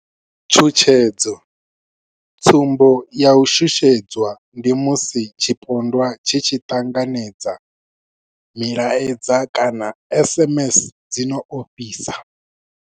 Tshutshedzo, Tsumbo ya u shushedzwa ndi musi tshipondwa tshi tshi ṱanganedza milaedza kana SMS dzi no ofhisa.